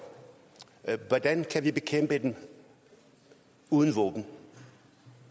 hvordan kan vi bekæmpe dem uden våben